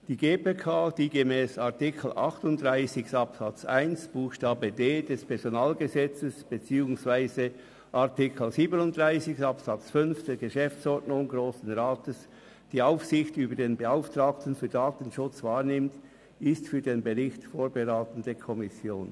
Die GPK, die gemäss Artikel 38 Absatz 1 Buchstabe d des Personalgesetzes vom 16. September 2004 (PG) beziehungsweise Artikel 37 Absatz 5 der Geschäftsordnung des Grossen Rats vom 4. Juni 2013 (GO) die Aufsicht über den Beauftragten für Datenschutz wahrnimmt, ist für den Bericht die vorberatende Kommission.